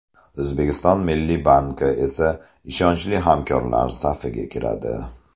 O‘zbekiston milliy banki esa ishonchli hamkorlar safiga kiradi.